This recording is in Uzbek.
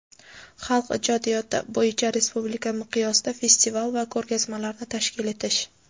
xalq ijodiyoti) bo‘yicha respublika miqyosida festival va ko‘rgazmalarni tashkil etish;.